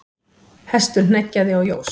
Hestur hneggjaði og jós.